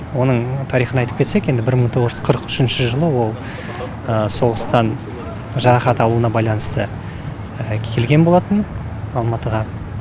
оның тарихын айтып кетсек енді бір мың тоғыз жүз қырық үшінші жылы ол соғыстан жарақат алуына байланысты келген болатын алматыға